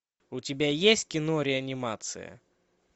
у тебя есть кино реанимация